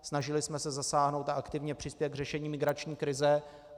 Snažili jsme se zasáhnout a aktivně přispět k řešení migrační krize.